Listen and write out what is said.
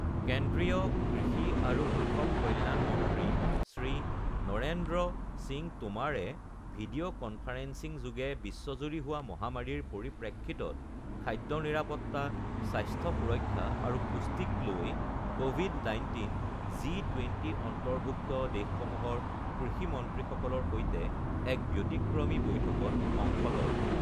কেন্দ্ৰীয় কৃষি আৰু কৃষক কল্যাণ মন্ত্ৰী শ্ৰী নৰেন্দ্ৰ সিং টোমাৰে ভিডিঅ কনফাৰেন্সিংযোগে বিশ্বজুৰি হোৱা মহামাৰীৰ পৰিপ্ৰেক্ষিতত খাদ্য নিৰাপত্তা, স্বাস্থ্য সুৰক্ষা আৰু পুষ্টিক লৈ কভিড ১৯ জি ২০ অন্তৰ্ভুক্ত দেশসমূহৰ কৃষিমন্ত্ৰীসকলৰ সৈতে এক ব্যতিক্ৰমী বৈঠকত অংশ লয়